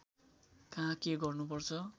कहाँ के गर्नुपर्छ